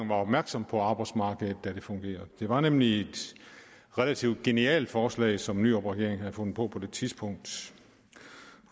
var opmærksom på arbejdsmarkedet da det her fungerede det var nemlig et relativt genialt forslag som nyrupregeringen havde fundet på på det tidspunkt